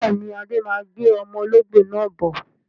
Bẹ́ẹ̀ni, Adé má gbé ọmọ olóngbó náà bọ̀